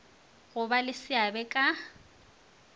go ba le seabe ka